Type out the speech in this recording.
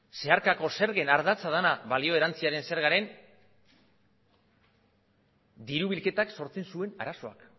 zeharkako zergen ardatza dana balio erantziaren zergaren diru bilketak sortzen zuen arazoak